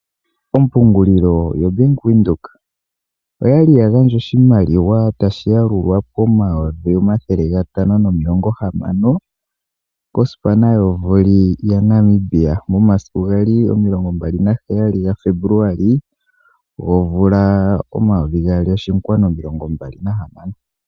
Ompungulilo yo Bank Widhoek, oyali ya gandja oshimaliwa tashi yalulwa pomayovi omathele gatano nomilongo hamano kosipana yo voli ya Namibia, momasiku sho gali omilongo mbali na heyali ga febuluali gomvula omayovi gaali nomilongo mbali na hamano.